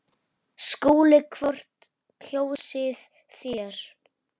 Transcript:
SKÚLI: Hvort kjósið þér?